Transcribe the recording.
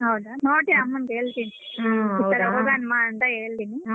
ಹೌದಾ ನೋಡ್ತೀನಿ ಅಮ್ಮಂಗೆ ಹೇಳ್ತೀನಿ ಈತರ ಹೋಗೋಣ್ವ ಅಂತ ಹೇಳ್ತೀನಿ